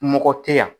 Mɔgɔ tɛ yan